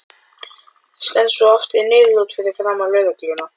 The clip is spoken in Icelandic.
Helga, og Snorri í hljóðfærasmíði í Kaupmannahöfn.